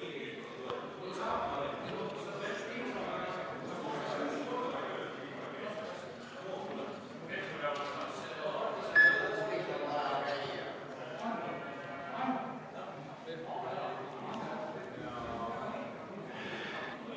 Hääletustulemused